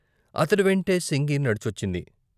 అతడి వెంటే సింగి నడిచొచ్చింది.